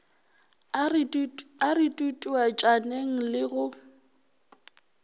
a re tutuetšaneng le go